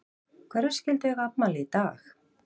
Hverjir skyldu eiga afmæli í dag?